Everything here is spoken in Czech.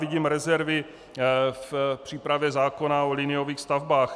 Vidím rezervy v přípravě zákona o liniových stavbách.